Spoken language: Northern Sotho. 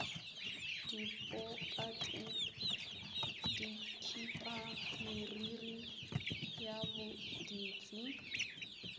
dipokate dikhipa meriri ya boditsi